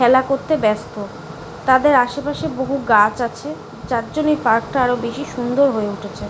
খেলা করতে ব্যাস্ত তাদের আশেপাশে বহু গাছ আছে যার জন্যে এই পার্ক টা আরো বেশি সুন্দর হয়ে উঠেছে ।